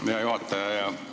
Aitäh, hea juhataja!